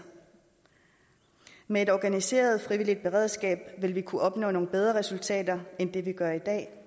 med et organiseret frivilligt beredskab vil vi kunne opnå nogle bedre resultater end vi gør i dag